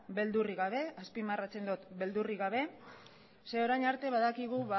beldurrik gabe azpimarratzen dut beldurrik gabe zeren orain arte badakigu